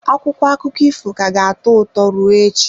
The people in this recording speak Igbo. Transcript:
Akwụkwọ akụkọ ifo ka ga-atọ ụtọ ruo echi.